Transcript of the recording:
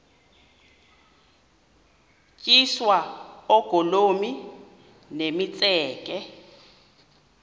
tyiswa oogolomi nemitseke